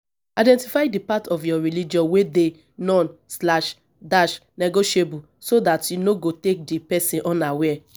identify di part of your religion wey dey non-negotiable so dat you no go take di person unaware